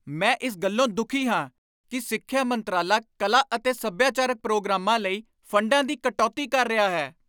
ਮੈਂ ਇਸ ਗੱਲੋਂ ਦੁਖੀ ਹਾਂ ਕਿ ਸਿੱਖਿਆ ਮੰਤਰਾਲਾ ਕਲਾ ਅਤੇ ਸੱਭਿਆਚਾਰਕ ਪ੍ਰੋਗਰਾਮਾਂ ਲਈ ਫੰਡਾਂ ਵਿੱਚ ਕਟੌਤੀ ਕਰ ਰਿਹਾ ਹੈ।